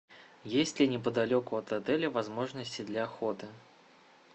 есть ли неподалеку от отеля возможности для охоты